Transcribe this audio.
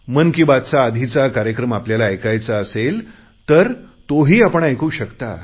मन की बात चा आधीचा कार्यक्रम आपल्याला ऐकायचा असेल तर ते ही आपण ऐकू शकता